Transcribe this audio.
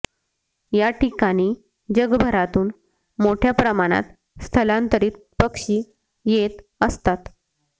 या ठिकाणी जगभरातून मोठय़ा प्रमाणात स्थलांतरित पक्षी येत असतात